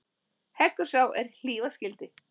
Heggur sá er hlífa skyldi.